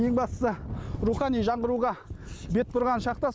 ең бастысы рухани жаңғыруға бет бұрған шақта